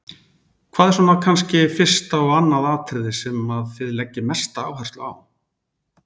Hvað er svona kannski fyrsta og annað atriðið sem að þið leggið mesta áherslu á?